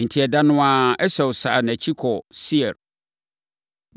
Enti, ɛda no ara, Esau sane nʼakyiri kɔɔ Seir.